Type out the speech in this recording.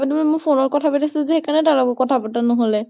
মই phone ত কথা পাতি আছিলো যে, সেইকাৰনে তাৰ লগত কথা পাতা নʼহলে ।